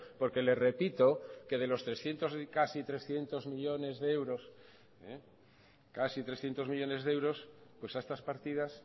porque le repito que de los trescientos casi trescientos millónes de euros casi trescientos millónes de euros pues a estas partidas